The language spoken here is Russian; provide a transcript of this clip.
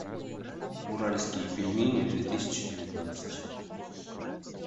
уральские пельмени две тысячи девятнадцать